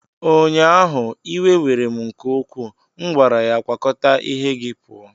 ụnyaahụ, iwe were m nke ukwuu, m gwara ya, kwakọta ihe gị pụọ!